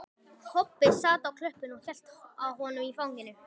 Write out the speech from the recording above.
Kobbi sat á klöppinni og hélt á honum í fanginu.